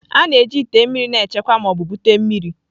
A na-eji ite mmiri na-echekwa ma ọ bụ bute mmiri.